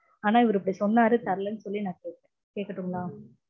ஆனா இவர் இப்போ சொன்னார் தரலனு சொல்லி நா கேக்கட்டுங்களா?